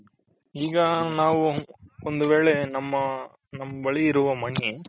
ಈಗ ನಾವು ಒಂದ್ ವೇಳೆ ನಮ್ಮ ನಮ್ಮ ಬಳಿ ಇರುವ money